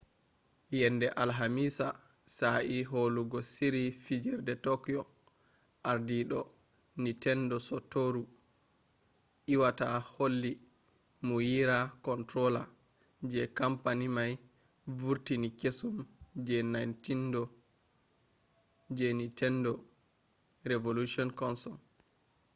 yende alamisa sa'a hollugo shiri fijirde tokyo ardiido nintendo satoru iwata holli muuyira controller je campani mai vurtini kesum je nintendo revolution console